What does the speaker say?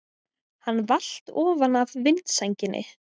Hann valt ofan af vindsænginni!